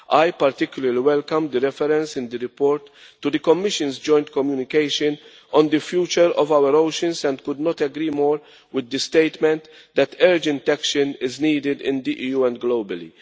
I particularly welcome the reference in the report to the Commission's joint communication on the future of our oceans and could not agree more with the statement that urgent action is needed in the EU and globally.